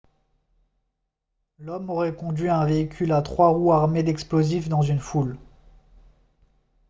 l'homme aurait conduit un véhicule à trois roues armé d'explosifs dans une foule